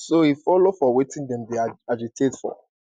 so e follow for wetin dem dey agitate for